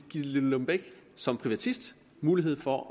gitte lillelund bech som privatist mulighed for at